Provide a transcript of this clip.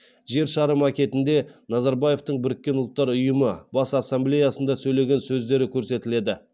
жер шары макетінде назарбаевтың біріккен ұлттар ұйымы бас ассамблеясында сөйлеген сөздері көрсетіледі